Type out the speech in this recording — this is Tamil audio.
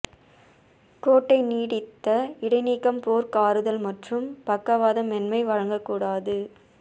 கோட்டை நீடித்த இடைநீக்கம் போர்க் ஆறுதல் மற்றும் பக்கவாதம் மென்மை வழங்கக் கூடாது